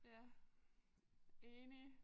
Ja enig